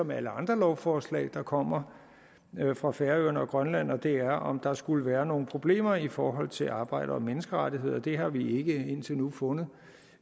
med alle andre lovforslag der kommer fra færøerne og grønland og det er om der skulle være nogle problemer i forhold til arbejde og menneskerettigheder det har vi ikke indtil nu fundet